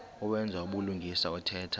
owenza ubulungisa othetha